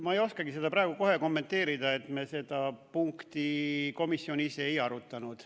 Ma ei oskagi seda praegu kohe kommenteerida, me seda punkti komisjonis ei arutanud.